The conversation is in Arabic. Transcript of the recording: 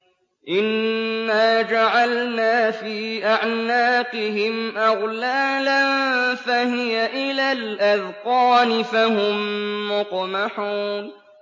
إِنَّا جَعَلْنَا فِي أَعْنَاقِهِمْ أَغْلَالًا فَهِيَ إِلَى الْأَذْقَانِ فَهُم مُّقْمَحُونَ